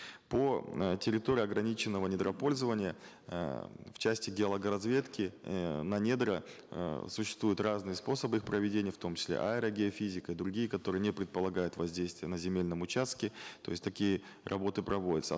по э территории ограниченного недропользования э в части геологоразведки э на недра э существуют разные способы их проведения в том числе аэрогеофизика другие которые не предполагают воздействия на земельном участке то есть такие работы проводятся